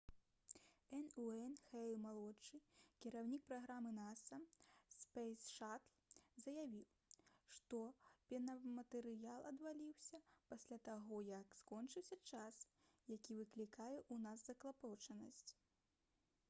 н. уэйн хейл-малодшы кіраўнік праграмы наса «спэйс шатл» заявіў што пенаматэрыял адваліўся «пасля таго як скончыўся час які выклікае ў нас заклапочанасць»